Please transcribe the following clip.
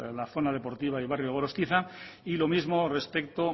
a la zona deportiva del barrio gorostiza y lo mismo